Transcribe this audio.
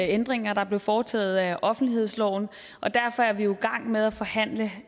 ændringer der blev foretaget af offentlighedsloven og derfor er vi jo i gang med at forhandle